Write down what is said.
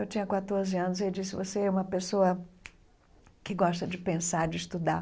Eu tinha quatorze anos e ele disse, você é uma pessoa que gosta de pensar, de estudar.